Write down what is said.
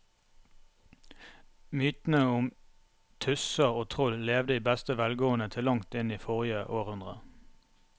Mytene om tusser og troll levde i beste velgående til langt inn i forrige århundre.